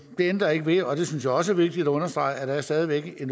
det ændrer ikke ved og det synes jeg også er vigtigt at understrege at der stadig væk er